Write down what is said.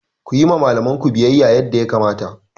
Ku yi wa malamanku biyayya yadda ya kamata!